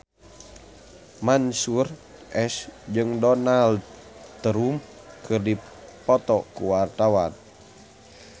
Mansyur S jeung Donald Trump keur dipoto ku wartawan